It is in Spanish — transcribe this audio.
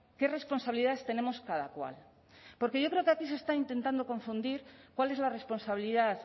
qué responsabilidades tenemos cada cual porque yo creo que aquí se está intentando confundir cuál es la responsabilidad